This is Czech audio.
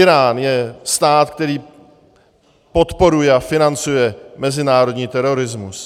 Írán je stát, který podporuje a financuje mezinárodní terorismus.